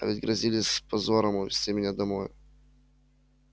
а ведь грозились с позором увезти меня домой